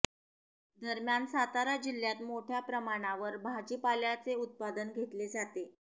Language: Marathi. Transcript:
दरम्यान सातारा जिल्ह्यात मोठ्या प्रमाणावर भाजीपाल्याचे उत्पादन घेतले जाते